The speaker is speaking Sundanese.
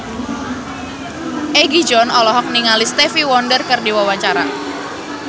Egi John olohok ningali Stevie Wonder keur diwawancara